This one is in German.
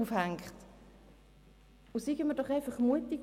Seien wir doch mutig.